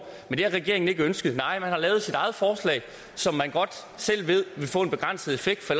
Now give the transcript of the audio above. men det har regeringen ikke ønsket nej man har lavet sit eget forslag som man godt selv ved vil få en begrænset effekt for